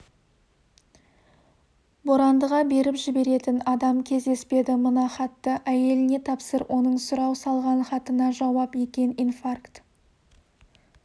борандыға беріп жіберетін адам кездеспеді мына хатты әйеліне тапсыр оның сұрау салған хатына жауап екен инфаркт